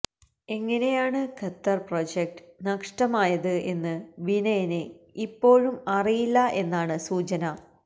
എങ്ങിനെയാണ് Qatar project നഷ്ടമായത് എന്ന് വിനയന് ഇപ്പോഴും അറിയില്ലാ എന്നാണ് സൂചന